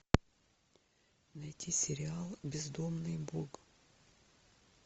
найти сериал бездомный бог